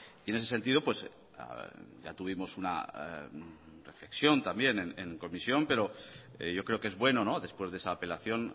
y en ese sentido ya tuvimos una reflexión también en comisión pero yo creo que es bueno después de esa apelación